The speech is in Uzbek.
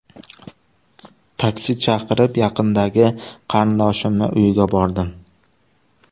Taksi chaqirib, yaqindagi qarindoshimning uyiga bordim.